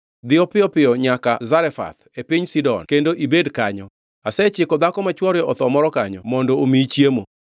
“Dhiyo piyo piyo nyaka Zarefath e piny Sidon kendo ibed kanyo. Asechiko dhako ma chwore otho moro kanyo mondo omiyi chiemo.”